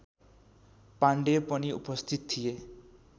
पाण्डेय पनि उपस्थित थिए